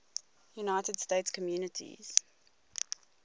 united states communities